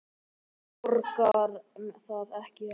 Borgar það sig ekki?